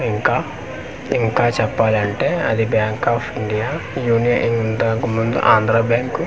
ఇంకా ఇంకా చెప్పాలంటే అది బ్యాంక్ ఆఫ్ ఇండియా యూనియ ఇంతకు ముందు ఆంధ్ర బ్యాంకు .